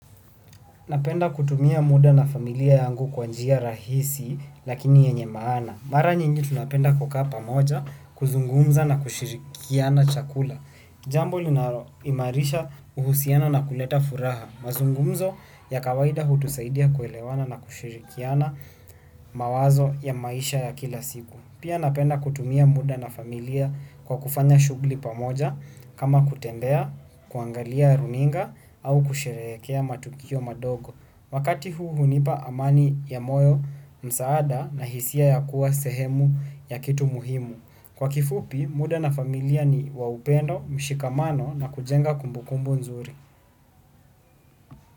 Napenda kutumia muda na familia yangu kwa njia rahisi lakini yenye maana. Mara nyingi tunapenda kukaa pamoja kuzungumza na kushirikiana chakula. Jambo linaloimarisha uhusiano na kuleta furaha. Mazungumzo ya kawaida hutusaidia kuelewana na kushirikiana mawazo ya maisha ya kila siku. Pia napenda kutumia muda na familia kwa kufanya shughuli pamoja kama kutembea, kuangalia runinga au kusherekea matukio madogo. Wakati huu hunipa amani ya moyo, msaada na hisia ya kuwa sehemu ya kitu muhimu. Kwa kifupi muda na familia ni wa upendo ushikamano na kujenga kumbukumbu mnzuri.